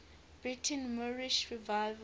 britain's moorish revival